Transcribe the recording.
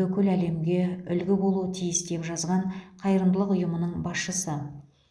бүкіл әлемге үлгі болуы тиіс деп жазған қайырымдылық ұйымының басшысы